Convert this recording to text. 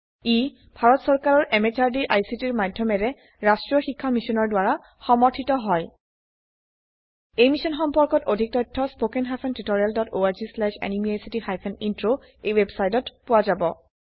ই ভাৰত চৰকাৰৰ MHRDৰ ICTৰ মাধয়মেৰে ৰাস্ত্ৰীয় শিক্ষা মিছনৰ দ্ৱাৰা সমৰ্থিত হয় এই মিশ্যন সম্পৰ্কত অধিক তথ্য spoken hyphen tutorial dot org slash এনএমইআইচিত হাইফেন ইন্ট্ৰ ৱেবচাইটত পোৱা যাব